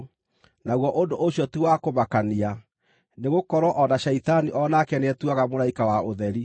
Naguo ũndũ ũcio ti wa kũmakania, nĩgũkorwo o na Shaitani o nake nĩetuaga mũraika wa ũtheri.